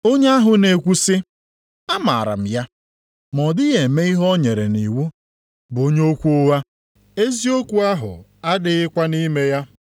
Onye ahụ na-ekwu sị, “Amaara m ya,” ma ọ dịghị eme ihe o nyere nʼiwu bụ onye okwu ụgha, eziokwu ahụ adịghịkwa nʼime ya.